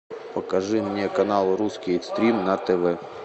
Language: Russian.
покажи мне канал русский экстрим на тв